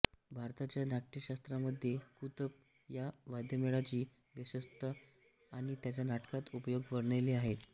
भरताच्या नाट्यशास्त्रामध्ये कुतप या वाद्यमेळाची व्यवस्था आणि त्याचा नाटकात उपयोग वर्णिले आहेत